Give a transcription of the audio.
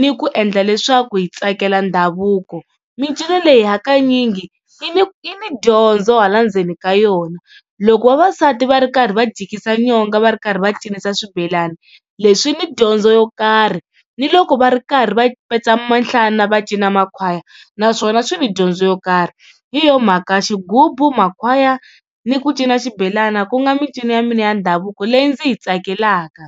ni ku endla leswaku hi tsakela ndhavuko. Micino leyi hakanyingi yi ni yi ni dyondzo hala ndzeni ka yona, loko vavasati va ri karhi va jikisa nyonga va ri karhi va cinisa swibelani leswi ni dyondzo yo karhi ni loko va ri karhi va petsa minhlana, va cina makhwaya naswona swi ni dyondzo yo karhi. Hi yona mhaka xigubu, makhwaya ni ku cina xibelana ku nga micino ya mina ya ndhavuko leyi ndzi yi tsakelaka.